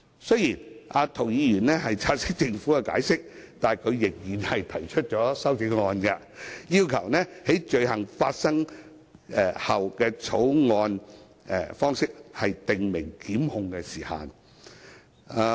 雖然涂議員察悉政府的解釋，但他仍然提出修正案，要求採用"於犯罪後"的草擬方式訂明檢控時限。